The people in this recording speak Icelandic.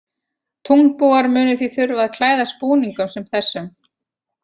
Tunglbúar munu því þurfa að klæðast búningum sem þessum.